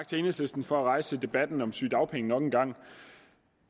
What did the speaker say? til enhedslisten for at rejse debatten om sygedagpenge nok en gang